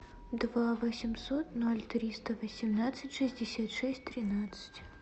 два восемьсот ноль триста восемнадцать шестьдесят шесть тринадцать